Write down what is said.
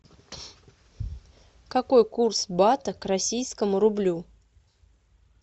какой курс бата к российскому рублю